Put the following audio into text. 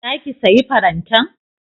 Za ki sayi farantan?